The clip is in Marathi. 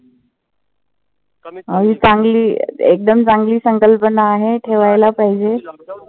अं चांगली एकदम चांगली संकल्पना आहे. ठेवायला पाहिजे.